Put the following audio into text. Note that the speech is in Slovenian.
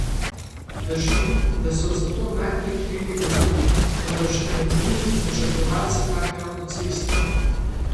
Drži, da so za to najprej krivi vozniki, vendar še pred njimi načrtovalci take avtoceste!